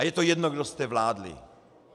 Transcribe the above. A je to jedno, kdo jste vládli.